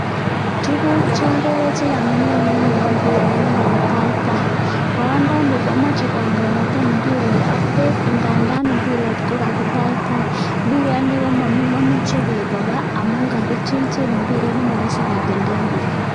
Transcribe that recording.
Tukuk chokere chekamilan en yuu kombiret nekakitaitai, boyondoni komoche kokonekten imbiret ak beek indandan imbiret ko kakitaitai, mbiret momuche beek kobaa amun kakechilchil imbiret nemoroisi kotenten beek.